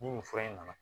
Ni nin fura in nana